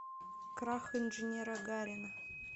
крах инженера гарина